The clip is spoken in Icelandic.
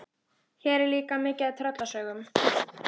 Hér er líka mikið af tröllasögum.